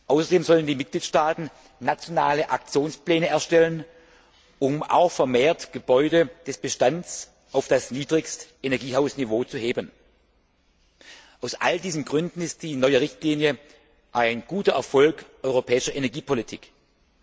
Außerdem sollen die Mitgliedstaaten nationale Aktionspläne erstellen, um auch den Gebäudebestand verstärkt auf das Niedrigstenergiehaus Niveau zu heben. Aus all diesen Gründen stellt die neue Richtlinie einen Erfolg der europäischen Energiepolitik dar.